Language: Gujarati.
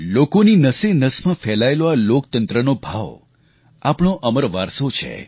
લોકોની નસે નસમાં ફેલાયેલો આ લોકતંત્રનો ભાવ આપણો અમર વારસો છે